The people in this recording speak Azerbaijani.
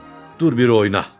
Qız, dur bir oyna.